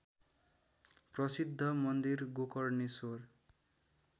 प्रसिद्ध मन्दिर गोकर्णेश्वर